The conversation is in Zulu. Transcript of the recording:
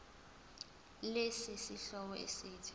lesi sihloko esithi